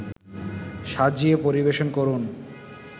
সাজিয়ে পরিবেশন করুন